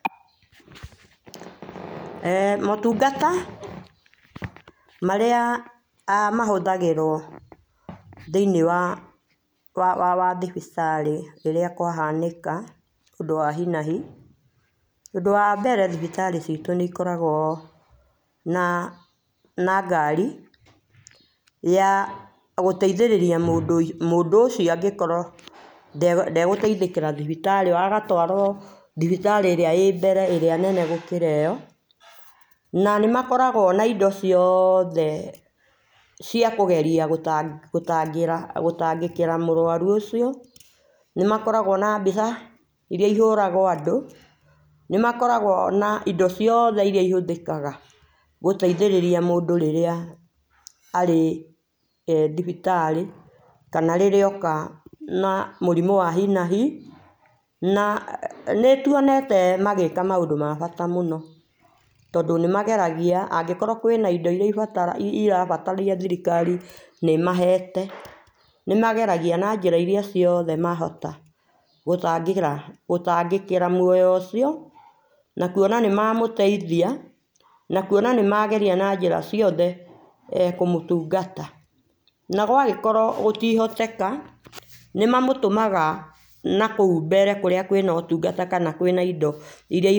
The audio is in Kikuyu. Eeh motungata marĩa mahũthagĩrwo thĩinĩ wa wwa thibitarĩ rĩrĩa kwa hanĩka ũndũ wa hinahi ũndũ wa mbere thibitari citũ nĩ cikoragwo na na ngari, ya gũteithĩrĩria mũndũ mũndũ ũcio angĩ korwo ndegũteithĩkĩra thibitari ĩyo agatwarwo thibitarĩĩrĩa ĩ mbere thibitarĩ ĩrĩa nene gũkĩra ĩyo, na nĩmakoragwo na indo ciothe cia kũgeria gũtangĩra gũtangĩkĩra mũrwarũ ũcio nĩmakoragwo na mbica irĩa ihũragwo andũ, nĩmakoragwo na indo ciothe irĩa ihũthĩkaga gũteĩthĩrĩria mũndũ rĩrĩa arĩ eeh thibitarĩ kana rĩrĩa oka na mũrĩmũ wa hinahi, na nĩtũonete magĩka maũndũ ma bata mũno tondũ nĩmageragia angĩkorwo kwĩna indo irĩa ĩra ĩrabataria thirikari nĩ ĩmahete nĩmageragia na jĩra irĩa ciothe mangĩhota gũtangĩra gũtangĩkĩra mũoyo ũcio na kũona nĩ mamũteithia na kũona nĩmageria na njĩra ciothe nĩmekũmũtũngata na gwagĩkorwo gũtingĩhoteka nĩmamũtũmaga nakũu mbere kũrĩa kwĩna ũtũngata kana kwĩna indo.